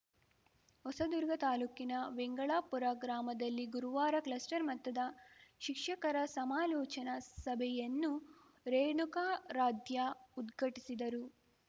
ಹೊಸದುರ್ಗ ತಾಲೂಕಿನ ವೆಂಗಳಾಪುರ ಗ್ರಾಮದಲ್ಲಿ ಗುರುವಾರ ಕ್ಲಸ್ಟರ್‌ ಮಟ್ಟದ ಶಿಕ್ಷಕರ ಸಮಾಲೋಚನಾ ಸಭೆಯನ್ನು ರೇಣುಕಾರಾಧ್ಯ ಉದ್ಘಟಿಸಿದರು